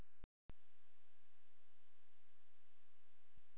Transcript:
Stefanía gjaldkeri grúfir sig yfir taflmenn.